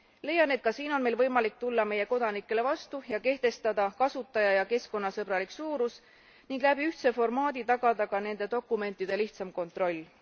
Leian, et ka siin on meil võimalik tulla meie kodanikele vastu ja kehtestada kasutaja ja keskkonnasõbralik suurus ning läbi ühtse formaadi tagada ka nende dokumentide lihtsam kontroll.